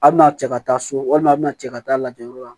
A bina cɛ ka taa so walima a bina cɛ ka taa lajɛ yɔrɔ la